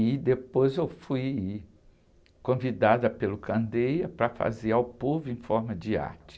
E depois eu fui convidada pelo para fazer ao povo em forma de arte.